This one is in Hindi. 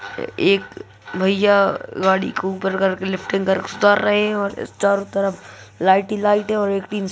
ए--क भैया गाडी को ऊपर कर के लिफ्टिंग कर रहे है और चारो तरफ लाईट ही लाईट है और एक टिंच--।